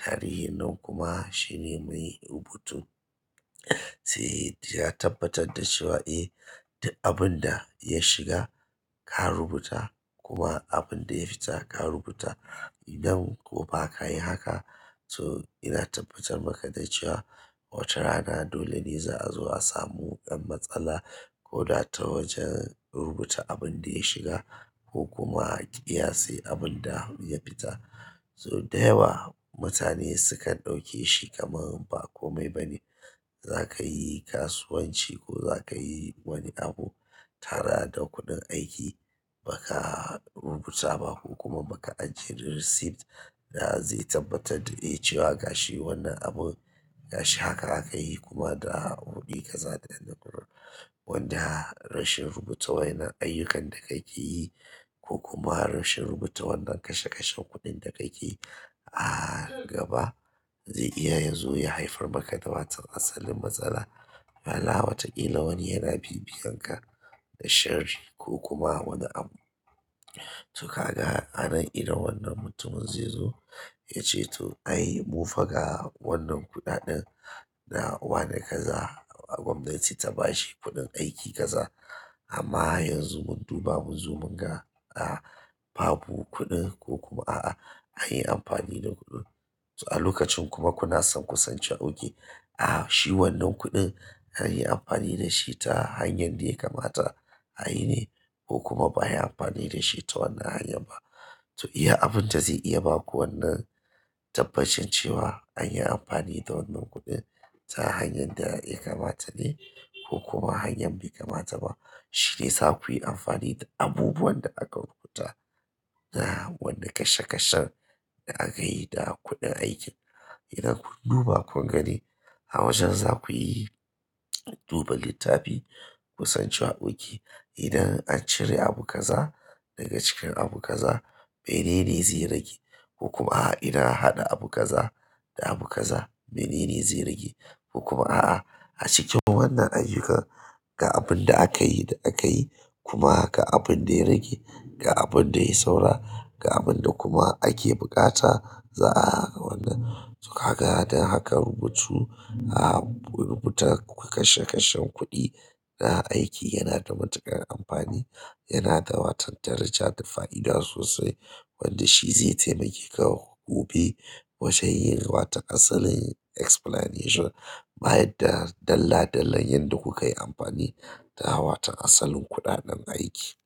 Tarihin nan kuma shine mai rubutu sai ya tabbatar da cewa eh duk abin da ya shiga ka rubuta kuma abin da ya fita ka rubuta idan ko ba ka yi haka. So ina tabbatar maka da cewa wata rana dole ne za'a zo a samu ɗan matsala ko da ta wajen rubuta abin da ya shiga ko kuma ƙiyase abin da ya fita. So da yawa mutane sukan ɗauke shi kamar ba kome ba ne. Za ka yi kasuwanci ko za ka yi wani abu tara da kuɗin aiki ba ka rubuta ba ko kuma ba ka ajiye receipt da zai tabbatar da eh cewa gashi wannan abun gashi haka aka yi kuma da ruɓi kaza ɗaya. Wanda rashin rubuta wa yana ayyukan da ka ke yi ko kuma rashin rubuta wannan kashe-kashen kuɗin da ka ke a gaba zai iya yazo ya haifar maka da wato asalin matsala. Ala wataƙila wani yana bibiyan ka da sharri ko kuma wani abu. To ka ga anan idan wannan mutumin zai zo ya ce to ai mu faga wannan kuɗaɗen na wane kaza gwamnati ta ba shi kuɗin aiki kaza amma yanzu mun duba mun zo mun ga a babu kuɗin ko kuma a'a an yi amfani da kuɗin. To a lokacin kuma kuna son ku san cewa oke a shi wannan kuɗin an yi amfani da shi ta hanyar da ya kamata a yi ne ko kuma ba a yi amfani da shi ta wannan hanyar ba. To iya abun da zai iya baku wannan tabbacin cewa anyi amfani da wannan kuɗin ta hanyar ɗaya kamatane ko kuma ta hanyar da bai kamata ba shi ne za ku yi amfani da abubuwan da aka rubuta da wannan kashe-kashen da aka yi da kuɗin aikin. Idan kun duba kun gani a wajen za ku yi duba littafi ku san cewa oke idan an cire abu kaza daga cikin abu kaza menene zai rage ko kuma a'a. Idan an haɗa abu kaza da abu kaza menene zai rage ko kuma a'a. A cikin wannan ayyuka ga abun da aka yi da aka yi kuma ga abun da ya rage ga abun da ya yi saura ga abun da kuma ake buƙata za'a wannan. To ka ga da hakan rubutu a rubuta kashe-kashen kuɗi na aiki yana da matuƙar amfani yana da watan daraja da fa'ida sosai wanda shi zai taimake ka gobe wajen yin wata asalin explanation bayan da dalla-dallan yadda ku ka yi amfani da watan asalin kuɗaɗen aiki.